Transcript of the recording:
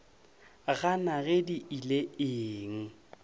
gana ge di ile eng